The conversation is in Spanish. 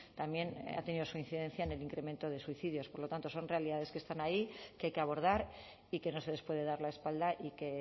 también ha tenido su incidencia en el incremento de suicidios por lo tanto son realidades que están ahí que hay que abordar y que no se les puede dar la espalda y que